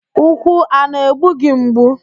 Úkwù a na-egbugị mgbu?